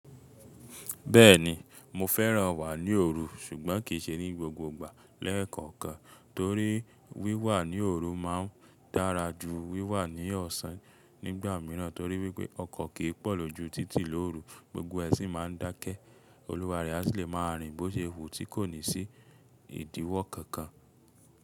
Bẹ́ẹ̀ni mo fẹ́ràn wà ní òru ṣùgbọ́n kì í ṣe ní gbogbo ìgbà lẹ́ẹ̀kọ̀ọ̀kan torí wíwà ní òru ma ń dára ju wíwà ní ọ̀sán nígbà míràn torí wípé ọkọ̀ kì í pọ̀ lójú títì lórù gbogbo ẹṣin ma ń dákẹ́. Olùwárí aṣi lè máa rìn bó ṣe wù tí kò ní sí ìdíwọ́ kankan.